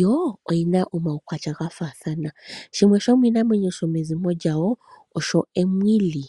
Yo oyina omaukwatya gafaathana. Shimwe shomiinamwenyo yomezimo lyawo osho emwili.